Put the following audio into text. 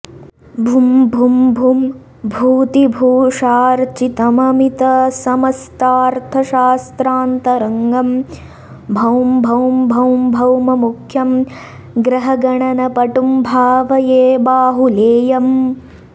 भुं भुं भुं भूतिभूषार्च्चितममितसमस्तार्थशास्त्रान्तरङ्गं भौं भौं भौं भौममुख्यं ग्रहगणनपटुं भावये बाहुलेयम्